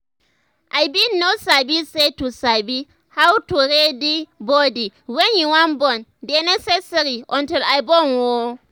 i bin no sabi say to sabi how to ready body wen you wan born dey necessary until i born ooo